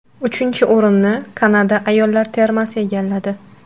Uchinchi o‘rinni Kanada ayollar termasi egalladi.